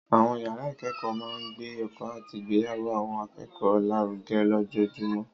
Àwọn yàrá ìkẹ́kọ̀ọ́ máa ń gbé ẹ̀kọ́ àti ìgbéyàwó àwọn akẹ́kọ̀ọ́ lárugẹ lójoojúmọ́.